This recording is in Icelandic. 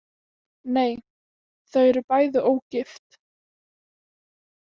Nei, þau eru bæði ógift.